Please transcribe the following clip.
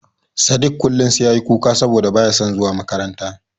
Sadik kullum sai ya yi kuka saboda ba ya son zuwa makaranta.